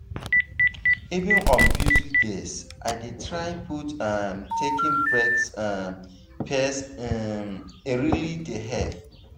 even on busy days i dey try put um taking breaks um first um e really dey help.